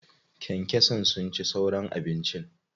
Kyankyasan sun ci sauran abincin.